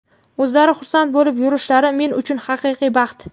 o‘zlari xursand bo‘lib yurishlari men uchun – haqiqiy baxt.